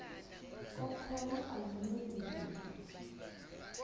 kokholo aluncedi lutho